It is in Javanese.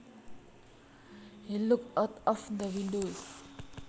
He looked out the window